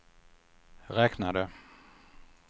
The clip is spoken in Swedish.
räknade